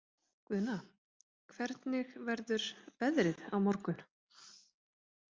Guðna, hvernig verður veðrið á morgun?